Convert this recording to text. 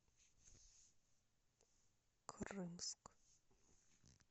крымск